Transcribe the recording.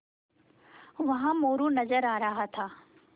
वहाँ मोरू नज़र आ रहा था